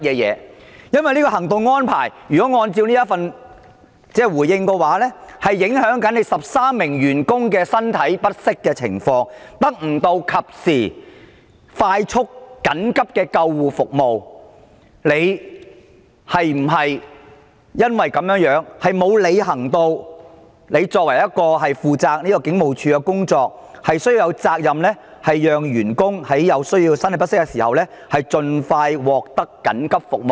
因為就行動安排而言，如果按照主體答覆所說，會影響這13名身體不適員工的情況，令他們得不到及時快速的緊急救護服務。你是否因為這樣而沒有履行負責警務處工作的責任，讓員工在身體不適的時候盡快獲得緊急救護服務？